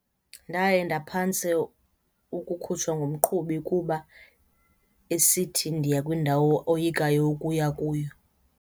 Ndaye ndaphantse ukukhutshwa ngumqhubi kuba esithi ndiya kwindawo oyikayo ukuya kuyo.